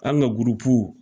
An ka